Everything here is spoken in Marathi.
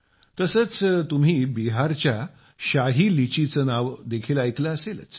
तसेच तुम्ही बिहारच्या शाही लीची चे नाव देखील ऐकले असेलच